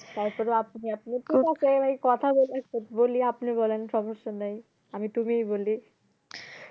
তারপরেও আপনি আপনি ঠিক যাছে এই কথাগুলা বলি আপনি বলেন সমস্যা নাই আমি তুমিই বলি